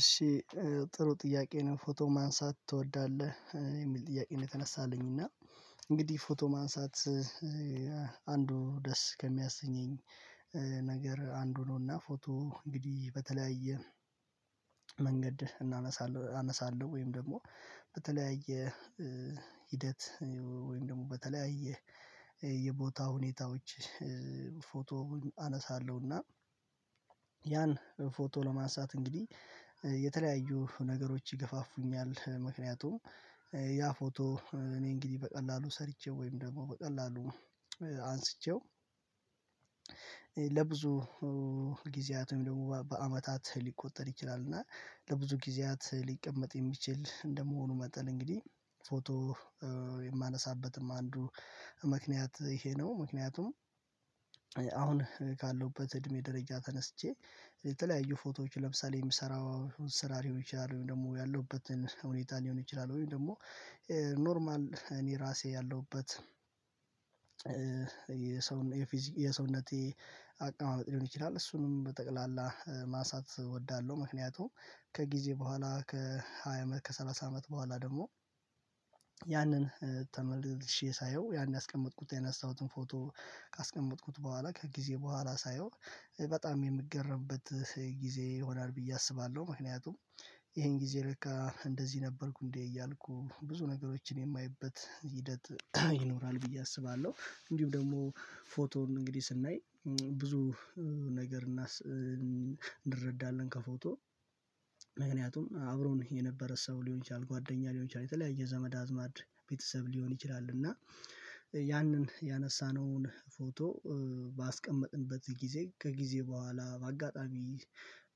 እሺ ጥሩ ጥያቄ ነው ፎቶ ማንሳት ትወዳለህ የሚል ጥያቄ ነው? የተነሳልኝ እና እንግዲህ ፎቶ ማንሳት አንዱ ደስ ከሚያሰኘኝ ነገር አንዱ ነውና ፎቶ እንግዲህ በተለያየ መንገድ እናነሳለን አነሳለሁ ወይም ደግሞ በተለያየ ሂደት ወይም ደግሞ በተለያየ የቦታ ሁኔታዎች ፎቶ አነሳለሁና ያን ፎቶ ለማንሳት እንግዲህ የተለያዩ ነገሮች ይገፋፉኛል ምክንያቱም ያ ፎቶ እኔ እንግዲህ በቀላሉ ሰርቼው ወይም ደግሞ በቀላሉ አንስቼው ለብዙ ጊዜያት ወይም ደግሞ በአመታት ሊቆጠር ይችላል እና ለብዙ ጊዜያት ሊቀመጥ የሚችል እንደመሆኑ መጠን እንግዲህ ፎቶ የማነሳበትም አንዱ ምክንያት ይሄ ነው። ምክንያቱም አሁን ካለውበት እድሜ ደረጃ ተነስቼ የተለያዩ ፎቶዎች ለምሳሌ የምሰራው ስራ ሊሆን ይችላል ወይም ደግሞ ያለሁበትን ሁኔታ ሊሆን ይችላል ወይም ደግሞ ኖርማል እኔ ራሴ ያለሁበት የሰውነቴ አቀማመጥ ሊሆን ይችላል እሱንም በጠቅላላ ማንሳት እወዳለሁ። ምክንያቱም ከጊዜ በኋላ ከሃያ አመት ከሰላሳ አመት በኋላ ደግሞ ያንን ተመልሼ ሳየው ያን ያስቀመጥኩት የነሳሁትን ፎቶ ካስቀመጥኩት በኋላ ከጊዜ በኋላ ሳየው በጣም የምገረምበት ጊዜ ይሆናል ብዬ አስባለሁ ምክንያቱም ይሄን ጊዜ ለካ እንደዚህ ነበርኩ እንዴ እያልኩ ብዙ ነገሮችን የማየበት ሂደት ይኖራል ብዬ አስባለሁ። እንዲሁም ደግሞ ፎቶን እንግዲህ ስናይ ብዙ ነገር እንረዳለን ከፎቶ ምክንያቱም አብሮ ነው የነበረ ሰው ሊሆን ይችላል ጓደኛ ሊሆን ይችላል የተለያየ ዘመድ አዝማድ ቤተሰብ ሊሆን ይችላል እና ያንን ያነሳነውን ፎቶ ባስቀመጥንበት ጊዜ ከጊዜ በኋላ በአጋጣሚ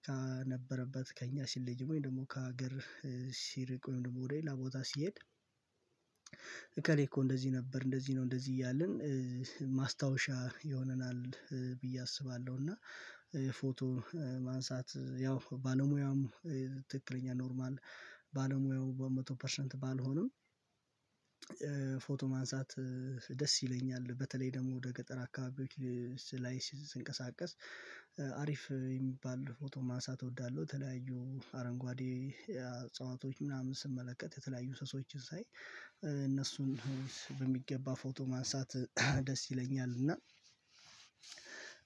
ከነበረበት ከእኛ ሲለይ ወይም ደግሞ ከሀገር ሲርቅ ወይም ደግሞ ወደ ሌላ ቦታ ሲሄድ እከሌ እኮ እንደዚህ ነበር እንደዚህ ነው እንደዚህ እያልን ማስታወሻ የሆነናል ብዬ አስባለሁ። እና ፎቶ ማንሳት ያው ባለሙያውም ትክክለኛ ኖርማል ባለሙያው በመቶ ፐርሰንት ባልሆንም ፎቶ ማንሳት ደስ ይለኛል በተለይ ደግሞ ወደ ገጠር አካባቢዎች ላይ ስንቀሳቀስ አሪፍ የሚባል ፎቶ ማንሳት እወዳለሁ ተለያዩ አረንጓዴ እጸዋቶች ምናምን ስመለከት የተለያዩ እንስሶችን ሳይ እነሱን በሚገባ ፎቶ ማንሳት ደስ ይለኛል። እና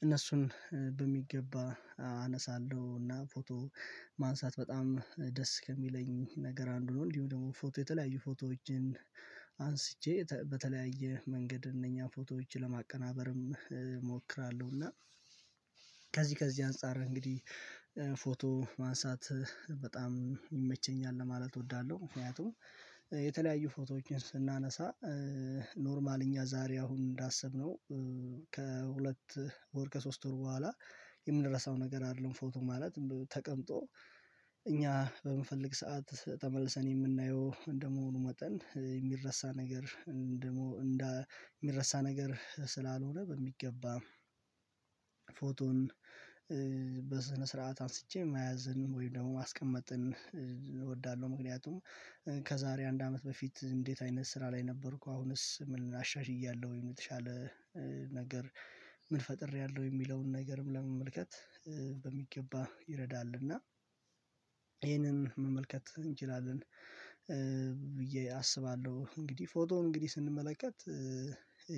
እነሱን በሚገባ አነሳለሁ እና ፎቶ ማንሳት በጣም ደስ ከሚለኝ ነገር አንዱ ነው። እንዲሁ ደግሞ ፎቶ የተለያዩ ፎቶዎችን አንስቼ በተለያየ መንገድ እነኛ ፎቶዎችን ለማቀናበርም እሞክራለሁ እና ከዚህ ከዚህ አንፃር እንግዲህ ፎቶ ማንሳት በጣም ይመቸኛል ለማለት እወዳለሁ። ምክንያቱም የተለያዩ ፎቶዎችን ስናነሳ ኖርማል እኛ ዛሬ አሁን እንዳሰብነው ከሁለት ወር ከሶስት ወር በኋላ የምንረሳው ነገር አይደለም ፎቶ ማለት ተቀምጦ እኛ በምንፈልግ ሰዓት ተመልሰን የምናየው እንደመሆኑ መጠን የሚረሳ ነገር እንደመሆን የሚረሳ ነገር ስላልሆነ በሚገባ ፎቶን በስነ ስርዓት አንስቼ መያዝን ወይም ደግሞ ማስቀመጥን እወዳለሁ። ምክንያቱም ከዛሬ አንድ አመት በፊት እንዴት አይነት ስራ ላይ ነበርኩ አሁንስ ምን አሻሽያለሁ የተሻለ ነገር ምን ፈጥሬያለሁ የሚለውን ነገርም ለመመልከት በሚገባ ይረዳልና ይሄንን መመልከት እንችላለን ብዬ አስባለሁ። እንግዲህ ፎቶውን እንግዲህ ስንመለከት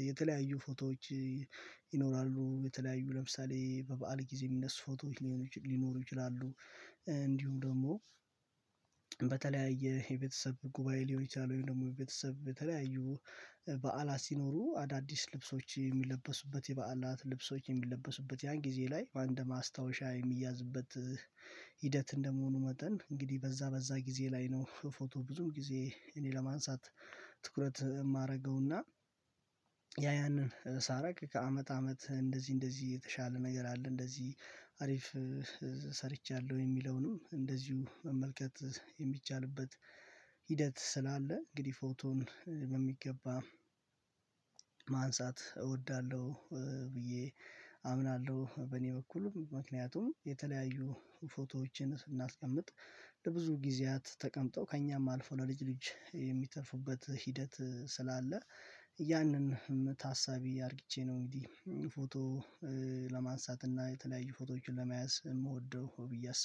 የተለያዩ ፎቶዎች ይኖራሉ የተለያዩ ለምሳሌ በበዓል ጊዜ የሚነሱ ፎቶዎች ሊኖሩ ይችላሉ እንዲሁም ደግሞ በተለያየ የቤተሰብ ጉባኤ ሊሆን ይችላል ወይም ደግሞ የቤተሰብ በተለያዩ በዓላት ሲኖሩ አዳዲስ ልብሶች የሚለበሱበት የበዓላት ልብሶች የሚለበሱበት ያን ጊዜ ላይ በአንድ ማስታወሻ የሚያዝበት ሂደት እንደመሆኑ መጠን እንግዲህ በዛ በዛ ጊዜ ላይ ነው ፎቶ ብዙም ጊዜ እኔ ለማንሳት ትኩረት የማደርገውና ያ ያንን ሳረግ ከአመት አመት እንደዚህ እንደዚህ የተሻለ ነገር አለ እንደዚህ አሪፍ ሰርቻለሁ የሚለውንም እንደዚሁ መመልከት የሚቻልበት ሂደት ስላለ እንግዲህ ፎቶን በሚገባ ማንሳት እወዳለሁ። ብዬ አምናለሁ በእኔ በኩልም ምክንያቱም የተለያዩ ፎቶዎችን ስናስቀምጥ ለብዙ ጊዜያት ተቀምጠው ከእኛም አልፎ ለልጅ ልጅ የሚተርፋበት ሂደት ስላለ ያንን ታሳቢ አድርጊቼ ነው እንግዲህ ፎቶ ለማንሳት እና የተለያዩ ፎቶዎችን ለመያዝ የምወደው ብዬ አስባለሁ